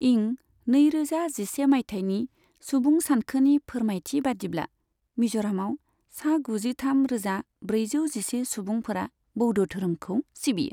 इं नैरोजा जिसे माइथायनि सुबुं सानखोनि फोरमायथि बादिब्ला, मिज'रामाव सा गुजिथाम रोजा ब्रैजौ जिसे सुबुंफोरा बौद्ध धोरोमखौ सिबियो।